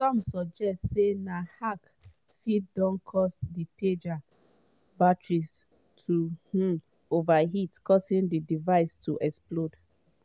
some suggest say na hack fit don cause di pager batteries to um overheat causing di devices to explode.